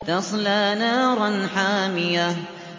تَصْلَىٰ نَارًا حَامِيَةً